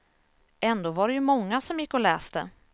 Ändå var det ju många som gick och läste.